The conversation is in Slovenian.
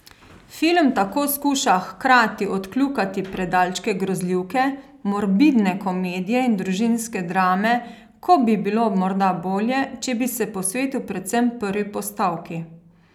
Film tako skuša hkrati odkljukati predalčke grozljivke, morbidne komedije in družinske drame, ko bi bilo morda bolje, če bi se posvetil predvsem prvi postavki.